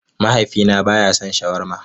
Mahaifina ba ya son shawarma